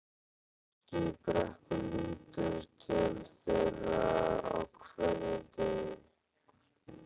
Fólkið í Brekku lítur til þeirra á hverjum degi.